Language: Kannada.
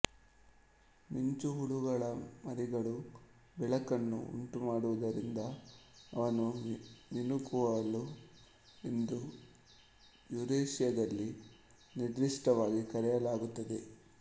ಮಿಂಚುಹುಳುಗಳ ಮರಿಗಳು ಬೆಳಕನ್ನು ಉಂಟುಮಾಡುವುದರಿಂದ ಅವನ್ನು ಮಿಣುಕುಹುಳು ಎಂದು ಯುರೇಶಿಯಾದಲ್ಲಿ ನಿರ್ದಿಷ್ಟವಾಗಿ ಕರೆಯಲಾಗುತ್ತದೆ